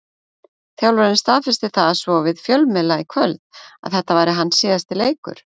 Þjálfarinn staðfesti það svo við fjölmiðla í kvöld að þetta væri hans síðasti leikur.